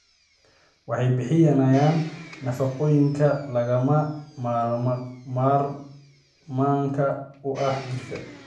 Waxay bixiyaan nafaqooyinka lagama maarmaanka u ah jirka.